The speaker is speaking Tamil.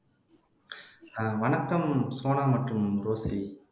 அஹ் வணக்கம் சோனா மற்றும் ரோஸ்லி